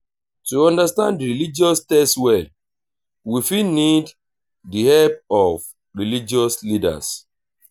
to understand di religious text well we fit need di help of religious leaders